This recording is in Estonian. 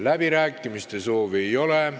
Läbirääkimiste soovi ei ole.